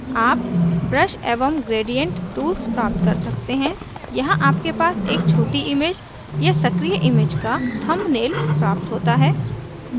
आप brush एवं gradient tools प्राप्त कर सकते हैं यहाँ आपके पास एक छोटी image या सक्रिय image का थंबनेल प्राप्त होता है